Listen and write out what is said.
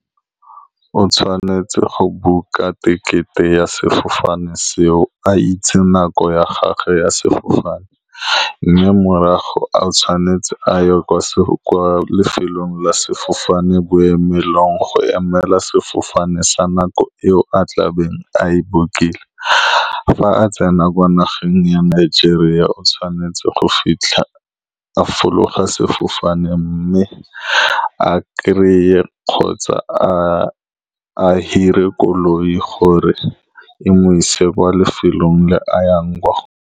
O tshwanetse go book-a tekete ya sefofane seo, a itse nako ya gagwe ya sefofane, mme morago a ye kwa kwa lefelong la sefofane boemelong, go emela sefofane sa nako eo a tlabeng a e book-ile. Fa a tsena kwa nageng ya Nigeria, o tshwanetse go fitlha, a fologa sefofane, mme a kry-e kgotsa a-a hire koloi gore e mo ise kwa lefelong le a yang kwa go.